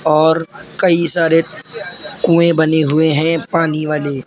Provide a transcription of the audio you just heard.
और कई सारे कूए बने हुए हैं पानी वाले।